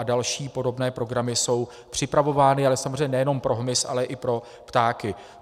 A další podobné programy jsou připravovány, ale samozřejmě nejenom pro hmyz, ale i pro ptáky.